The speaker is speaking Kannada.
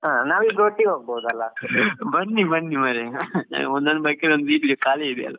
ಹಾ ನಾವಿಬ್ರು ಒಟ್ಟಿಗೆ ಹೋಗಬಹುದಲ್ಲಾ.